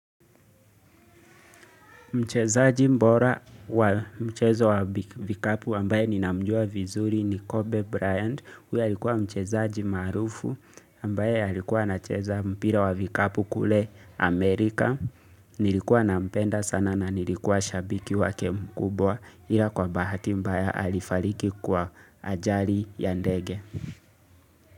Mchezaji bora wa mchezo wa vikapu ambaye ni namjua vizuri ni Kobe Bryant. Huyo alikuwa mchezaji maarufu ambaye alikuwa anacheza mpira wa vikapu kule Amerika. Nilikuwa nampenda sana na nilikuwa shabiki wake mkubwa ila kwa bahati mbaya alifariki kwa ajali ya ndege.